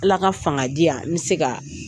Ala ka fanga diyan n bɛ se ka